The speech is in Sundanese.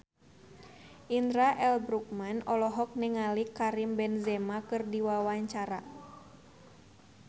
Indra L. Bruggman olohok ningali Karim Benzema keur diwawancara